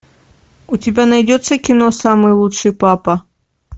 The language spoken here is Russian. у тебя найдется кино самый лучший папа